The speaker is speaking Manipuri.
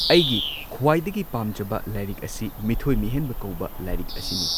ꯑꯩꯒꯤ ꯈ꯭ꯋꯥꯏꯗꯒꯤ ꯄꯥꯝꯖꯕ ꯂꯥꯏꯔꯤꯛ ꯑꯁꯤ ꯃꯤꯊꯣꯏ ꯃꯤꯍꯦꯟꯕ ꯀꯧꯕ ꯂꯥꯏꯔꯤꯛ ꯑꯁꯤꯅꯤ꯫